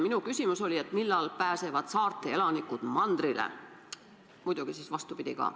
Minu küsimus oli, millal pääsevad saarte elanikud mandrile, muidugi siis vastupidi ka.